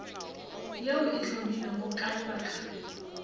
yeo e hlomilwego ka lebaka